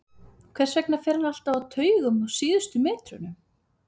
Hvers vegna fer hann alltaf á taugum á síðustu metrunum?